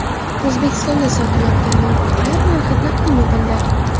O‘zbekistonda sotilayotgan noutbuklar narxi taqdim etildi.